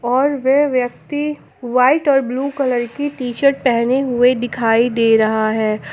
और वे व्यक्ति व्हाइट और ब्लू कलर की टी शर्ट पहने हुए दिखाई दे रहा है।